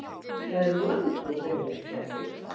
Það er langur vegur frá því